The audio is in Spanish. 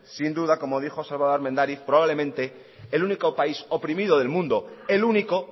sin duda como dijo salvador armendáriz probablemente el único país oprimido del mundo el único